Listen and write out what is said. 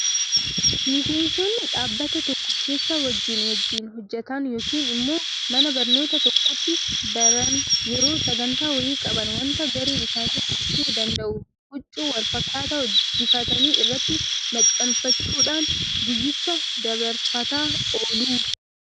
Miseensonni dhaabbata tokko keessa wajjin wajjin hojjetan yookiin immoo mana barnootaa tokkotti baran yeroo sagantaa wayii qaban waanta garee isaanii ibsuu danda'u huccuu walfakkaataa hojjechiifatanii irratti maxxanfachuudhaan guyyicha dabarfataa oolu.